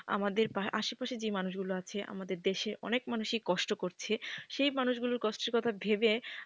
আমাদের আশেপাশে যে মানুষগুলো আছে আমাদের দেশে অনেক মানুষই কষ্ট করছে সেই মানুষগুলো কষ্টের কথা ভেবে,